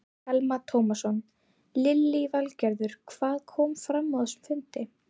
Telma Tómasson: Lillý Valgerður, hvað kom fram á þessum fundi?